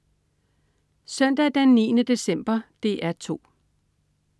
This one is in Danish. Søndag den 9. december - DR 2: